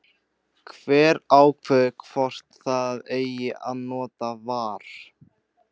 Hver ákveður hvort það eigi að nota VAR?